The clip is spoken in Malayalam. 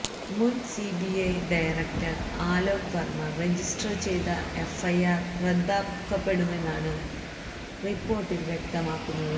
മുൻ CBI director Alok Varma register ചെയ്ത എഫ്ഐആർ റദ്ദാക്കപ്പെടുമെന്നാണ് റിപ്പോർട്ടിൽ വ്യക്തമാക്കുന്നത്